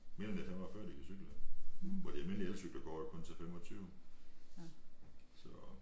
Mener det er 45 de kan cykle hvor de almindelige elcykler går jo kun til 25 så